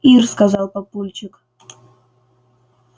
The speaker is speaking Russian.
ир сказал папульчик